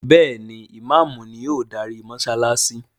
Béèni Imàámu ni o darí mósálásí.